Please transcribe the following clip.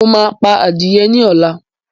Mo máa pa adìye ní ọ̀la